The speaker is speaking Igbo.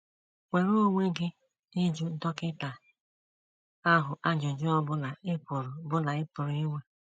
Nwere onwe gị ịjụ dọkịta ahụ ajụjụ ọ bụla ị pụrụ bụla ị pụrụ inwe.